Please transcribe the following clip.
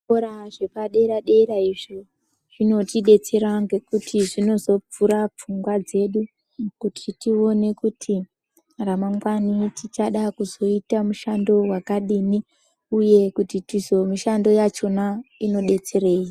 Zvikora zvepaderadera zvinotidetsera kuti zvizovhura pfungwa dzedu kuti tione kuti ramangwani tinoda kuzoita mushando wakadini uye kuti mushando yakona inotidetsera zvakadini.